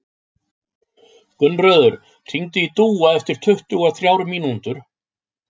Gunnröður, hringdu í Dúa eftir tuttugu og þrjár mínútur.